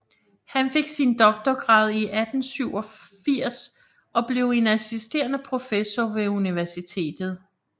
Han fik sin doktorgrad i 1887 og blev en assisterende professor ved universitetet